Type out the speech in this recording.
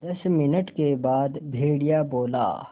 दस मिनट के बाद भेड़िया बोला